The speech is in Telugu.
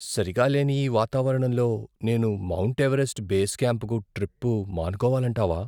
సరిగా లేని ఈ వాతావరణంలో నేను మౌంట్ ఎవరెస్ట్ బేస్ క్యాంపుకు ట్రిప్పు మానుకోవాలంటావా?